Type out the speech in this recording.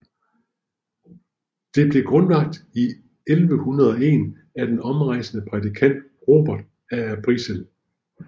Det blev grundlagt i 1101 af den omrejsende prædikant Robert af Arbrissel